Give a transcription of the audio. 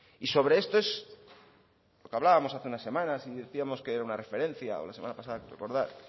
y sobre esto es lo que hablábamos hace unas semanas y decíamos que era una referencia o la semana pasada creo recordar